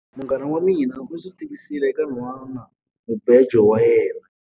Munghana wa mina u ndzi tivisile eka nhwanamubejo wa yena.